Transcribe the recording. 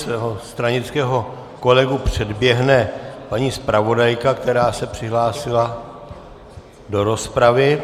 Svého stranického kolegu předběhne paní zpravodajka, která se přihlásila do rozpravy.